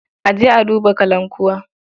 A je a duba kalankuwa.